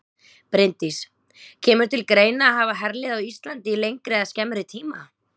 Bryndís: Kemur til greina að hafa herlið á Íslandi í lengri eða skemmri tíma?